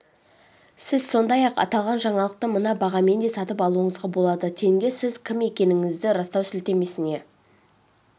сіз сондай-ақ аталған жаңалықты мына бағамен де сатып алуыңызға болады тенге сіз кім екендігіңізді растау сілтемесіне